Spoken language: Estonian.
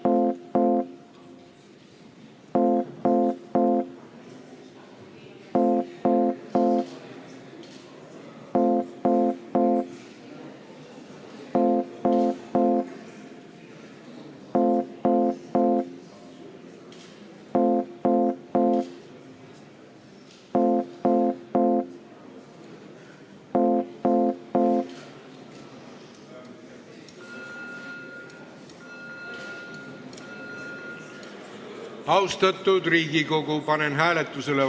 Hääletustulemused Eelnõu poolt on 53 Riigikogu liiget, vastu 13, erapooletuid 2.